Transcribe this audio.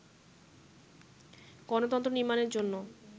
গণতন্ত্র নির্মাণের জন্য